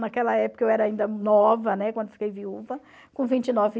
Naquela época eu era ainda nova, né, quando fiquei viúva, com vinte e nove